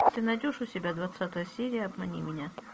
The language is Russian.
ты найдешь у себя двадцатая серия обмани меня